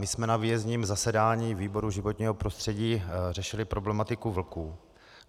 My jsme na výjezdním zasedání výboru životního prostředí řešili problematiku vlků.